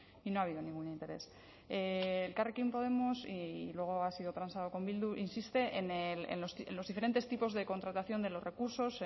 y no ha habido ningún interés elkarrekin podemos y luego ha sido transado con bildu insiste en los diferentes tipos de contratación de los recursos